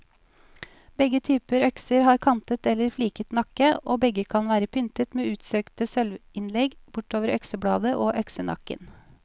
Begge typer økser har kantet eller fliket nakke, og begge kan være pyntet med utsøkte sølvinnlegg bortover øksebladet og øksenakken.